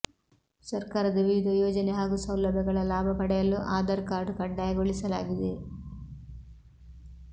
ಸರ್ಕಾರದ ವಿವಿಧ ಯೋಜನೆ ಹಾಗೂ ಸೌಲಭ್ಯಗಳ ಲಾಭ ಪಡೆಯಲು ಆಧಾರ್ ಕಾರ್ಡ್ ಕಡ್ಡಾಯಗೊಳಿಸಲಾಗಿದೆ